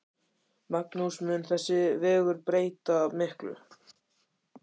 Magnús: Mun þessi vegur breyta miklu?